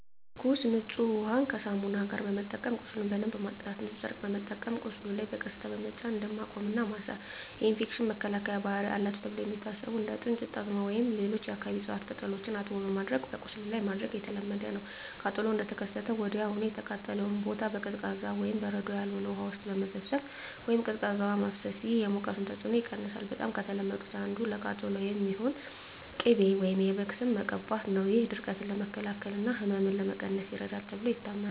ትኩስና ንጹህ ውሃን ከሳሙና ጋር በመጠቀም ቁስሉን በደንብ ማጽዳት። ንጹህ ጨርቅ በመጠቀም በቁስሉ ላይ በቀስታ በመጫን ደም ማቆም እና ማሰር። የኢንፌክሽን መከላከያ ባህሪ አላቸው ተብለው የሚታሰቡ እንደ ጥንጁት፣ ጣዝማ ወይም ሌሎች የአካባቢው እፅዋት ቅጠሎችን አጥቦ በማድቀቅ በቁስሉ ላይ ማድረግ የተለመደ ነው። ቃጠሎው እንደተከሰተ ወዲያውኑ የተቃጠለውን ቦታ በቀዝቃዛ (በበረዶ ያልሆነ) ውሃ ውስጥ መዘፍዘፍ ወይም ቀዝቃዛ ውሃ ማፍሰስ። ይህ የሙቀቱን ተጽዕኖ ይቀንሳል። በጣም ከተለመዱት አንዱ ለቃጠሎ የሚሆን ቅቤ ወይም የበግ ስብ መቀባት ነው። ይህ ድርቀትን ለመከላከል እና ህመምን ለመቀነስ ይረዳል ተብሎ ይታመናል።